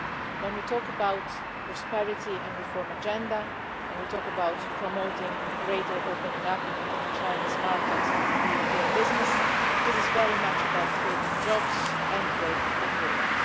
When we talk about a prosperity and reform agenda, when we talk about promoting a greater opening up of the Chinese market to European business, this is very much about creating jobs and growth in Europe.